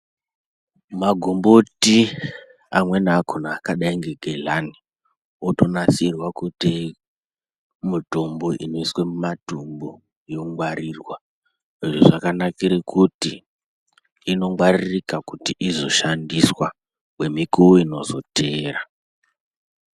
Magomboti amweni akona akadai nge gedhlani otonasirwa kuite mutombo inoiswe muma dhombo yongwarirwa. Izvo zvakanakire kuti inongwaririka kuti izoshandiswa kwemikuwo inozoteera.